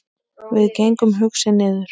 Við gengum hugsi niður